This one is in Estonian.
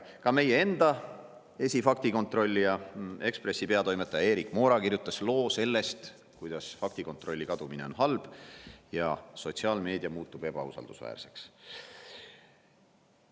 Ka meie enda esifaktikontrollija, Eesti Ekspressi peatoimetaja Erik Moora kirjutas loo sellest, kuidas faktikontrolli kadumine on halb ja sotsiaalmeedia muutub ebausaldusväärseks.